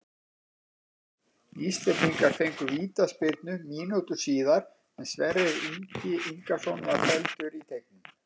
Íslendingar fengu vítaspyrnu mínútu síðar er Sverrir Ingi Ingason var felldur í teignum.